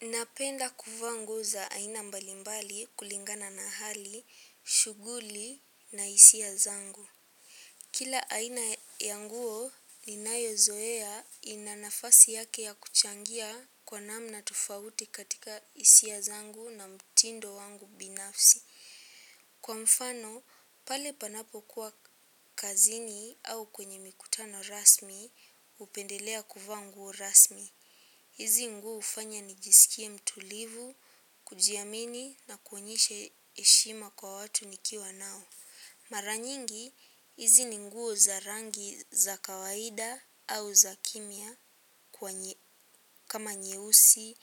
Napenda kuvaa nguo za aina mbalimbali kulingana na hali, shughuli na hisia zangu. Kila aina ya nguo ninayozoea ina nafasi yake ya kuchangia kwa namna tofauti katika hisia zangu na mtindo wangu binafsi. Kwa mfano, pale panapokuwa kazini au kwenye mikutano rasmi, hupendelea kuvaa nguo rasmi. Hizi nguo hufanya nijisikie mtulivu, kujiamini na kuonyeshe heshima kwa watu nikiwa nao. Maranyingi, hizi ni nguo za rangi za kawaida au za kimya kama nyeusi,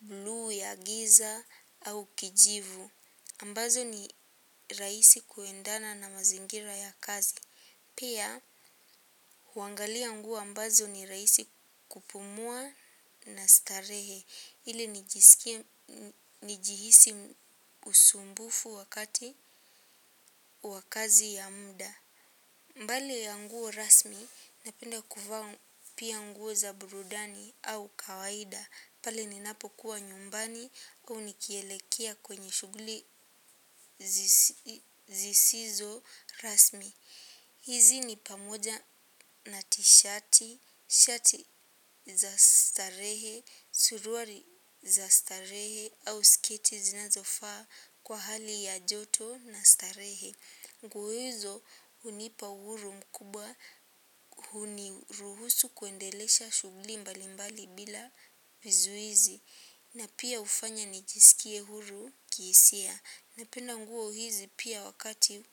bluu ya giza au kijivu. Ambazo ni raisi kuendana na mazingira ya kazi. Pia, huangalia nguo ambazo ni rahisi kupumua na starehe, ili nijihisi usumbufu wakati wa kazi ya muda. Mbali ya nguo rasmi, napenda kuvaa pia nguo za burudani au kawaida, pale ninapokuwa nyumbani au nikielekea kwenye shughuli zisizo rasmu. Hizi ni pamoja na tishati, shati za starehe, suruali za starehe au sketi zinazofaa kwa hali ya joto na starehe. Nguo hizo hunipa uhuru mkubwa huniruhusu kuendelesha shughuli mbalimbali bila vizuizi. Na pia hufanya nijisikie huru kihisia. Napenda nguo hizi pia wakati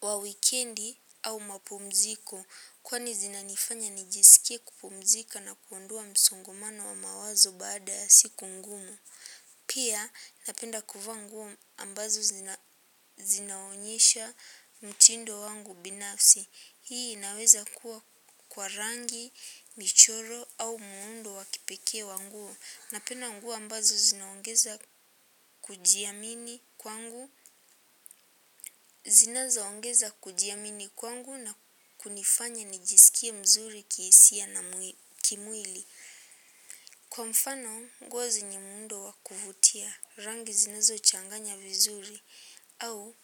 wa wikendi au mapumziko. Kwani zinanifanya nijisikie kupumzika na kuondoa msongomano wa mawazo baada siku ngumu. Pia napenda kuva nguo ambazo zinaonyesha mtindo wangu binafsi. Hii inaweza kuwa kwa rangi michoro au muundo wa kipekee wa nguo. Napenda nguo ambazo zinaongeza kujiamini kwangu na kunifanya nijisikie mzuri kihisia na kimwili. Kwa mfano, nguo zenye muundo wa kuvutia rangi zinazochanganya vizuri au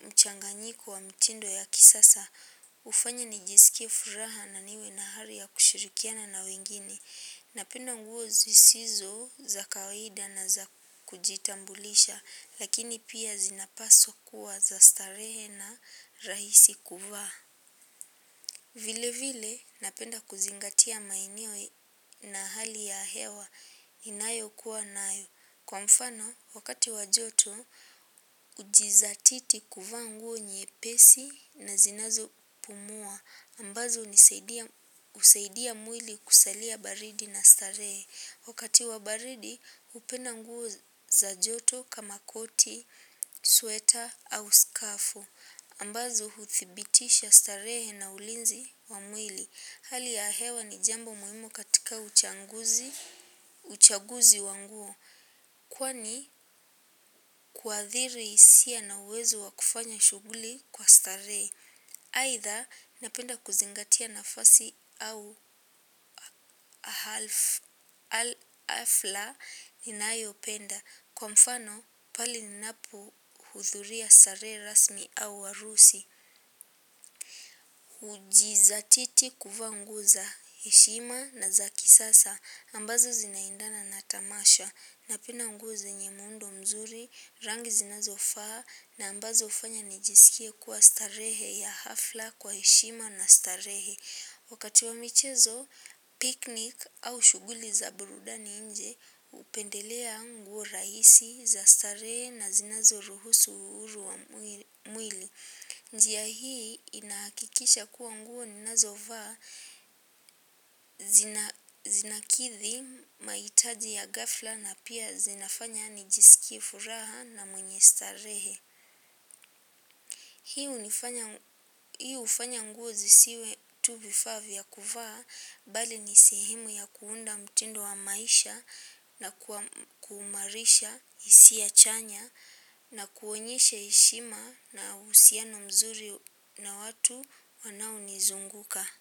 mchanganyiko wa mtindo ya kisasa. Hufanya nijisikie furaha na niwe na ari ya kushirikiana na wengine. Napenda nguo zisizo za kawaida na za kujitambulisha, lakini pia zinapaswa kuwa za starehe na rahisi kuwa. Vile vile napenda kuzingatia maeneo na hali ya hewa ninayokuwa nayo. Kwa mfano, wakati wa joto, hujidhatiti kuvaa nguo nyepesi na zinazopumua. Ambazo ni husaidia mwili kusalia baridi na starehe. Wakati wa baridi, hupenda nguo za joto kama koti, sweta au skafu. Ambazo huthibitisha starehe na ulinzi wa mwili. Hali ya hewa ni jambo muhimu katika uchaguzi wa nguo. Kwani kuathiri hisia na uwezo wa kufanya shughuli kwa stare. Aidha, napenda kuzingatia nafasi au hafla ninayopenda. Kwa mfano pale ninapohudhuria sherehe rasmi au harusi. Hujidhatiti kuvaa nguo za heshima na za kisasa. Ambazo zinaendana na tamasha. Napenda nguo zenye muundo mzuri rangi zinazofaa na ambazo hufanya nijisikie kuwa starehe ya hafla kwa heshima na starehe. Wakati wa michezo, piknik au shughuli za burudani nje hupendelea nguo rahisi za starehe na zinazoruhusu uhuru wa mwili njia hii inakikisha kuwa nguo ninazovaa zinakidhi mahitaji ya ghafla na pia zinafanya nijisikie furaha na mwenye starehe. Hiu hufanya nguo zisiwe tu vifaa vya kuvaa bali ni sehemu ya kuunda mtindo wa maisha na kuimarisha hisia chanya na kuonyesha heshima na uhusiano mzuri na watu wanaonizunguka.